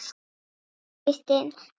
Þín Kristín Edda.